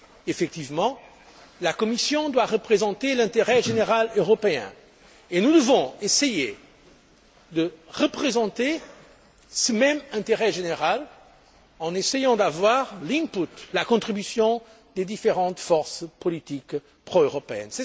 Effectivement, la Commission doit représenter l'intérêt général européen et nous devons essayer de représenter ce même intérêt général en tentant d'obtenir la contribution des différentes forces politiques pro européennes.